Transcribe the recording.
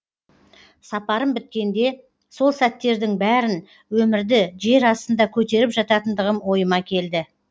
сапарым біткенде сол сәттердің бәрін өмірді жер астында көтеріп жататындығым ойыма келді